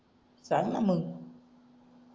सांगना मंग